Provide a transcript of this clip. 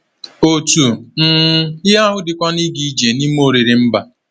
Otu um ihe ahụ dịkwa na ịga ije n’ime oriri mba.